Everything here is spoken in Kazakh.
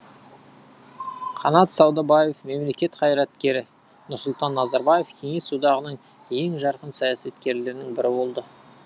қанат саудабаев мемлекет қайраткері нұрсұлтан назарбаев кеңес одағының ең жарқын саясаткерлерінің бірі болды